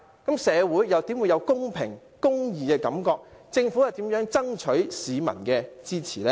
試問社會又怎會有公平、公義的感覺，政府又如何爭取市民的支持呢？